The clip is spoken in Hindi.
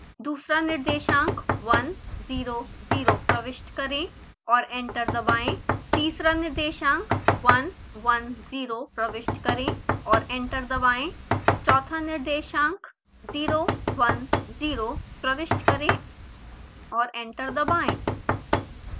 दूसरा निर्देशांक 1 0 0 प्रविष्ट करें और एंटर दबाएँ तीसरा निर्देशांक 1 1 0 प्रविष्ट करें और एंटर दबाएँ चौथा निर्देशांक 0 1 0 प्रविष्ट करें और एंटर दबाएँ